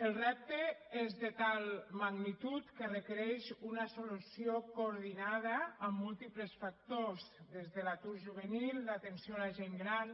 el repte és de tal magnitud que requereix una solució coordinada amb múltiples factors des de l’atur juvenil l’atenció a la gent gran